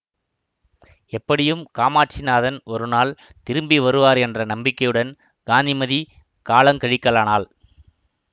எப்படியும் காமாட்சிநாதன் ஒரு நாள் திரும்பி வருவார் என்ற நம்பிக்கையுடன் காந்திமதி காலங் கழிக்கலானாள்